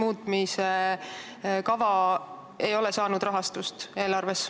See ei ole rahastust saanud.